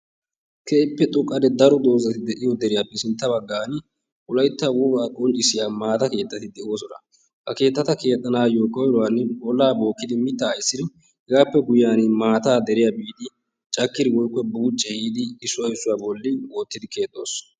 keehippe xooqqanne daro doozati de'iyoo deriyaappe sintta baggaan wolaytta wogaa qonccisiyaa maata keettati de'oosona. ha keettata keexxanaayoo koyruwaan ollaa bookkidi mittaa essidi hegaappe guyiyaani maataa deriyaa biidi caakkidi woykko buucci eehidi issuwaa issuwaa bolli wottidi keexxoos.